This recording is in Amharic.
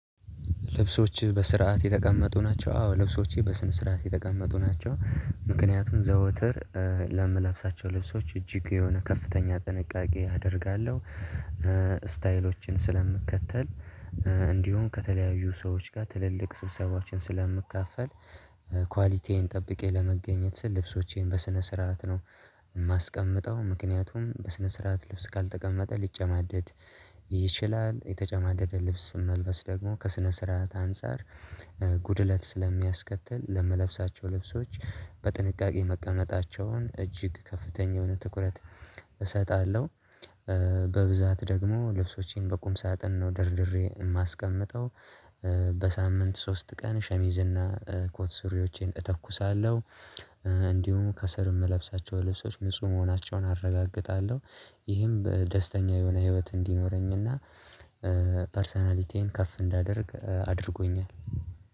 ልብሶችህ በስርዓት የተቀመጡ ናቸው? አዎ ልብሶቼ በስነ ስርዓት የተቀመጡ ናቸው። ምክንያቱም ዘወትር ለምለብሳቸው ልብሶች እጅግ የሆነ ከፍተኛ ጥንቃቄ አደርጋለሁ። ስታይሎችን ስለምከተል እንዲሁም ከተለያዩ ሰዎች ጋር ትልልቅ ስብሰባዎችን ስለምካፈል። ጠብቄ ለመገኘት ስል ልብሶቼን በስነ ስርዓት ነው የማስቀምጠው ምክንያቱም በስነ ስርዓት ልብስ ካልተቀመጠ ሊጨማደድ ይችላል። የተጨማደደ ልብስ መልበስ ደግሞ ከስነ ስርዓት አንፃር ጉድለት ስለሚያስከትል ለምለብሳቸው ልብሶች በጥንቃቄ መቀመጣቸውን እጅግ ከፍተኛ የሆነ ትኩረት እሰጣለሁ። በብዛት ደግሞ ልብሶቼን በቁም ሳጥን ነው ደርድሬ የማስቀምጠው። በሳምንት ሶስት ቀን ሸሚዝና ኮት ሱሪዎቼን እተኩሳለሁ። እንዲሁም ከስር የምለብሳቸው ልብሶች ንጹህ መሆናቸውን አረጋግጣለሁ። ይህም በደስተኛ የሆነ ህይወት እንዲኖረኝና ፐርሰናሊቲዬን ከፍ እንዳደርግ አድርጎኛል